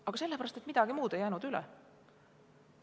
Aga sellepärast, et midagi muud ei jäänud üle.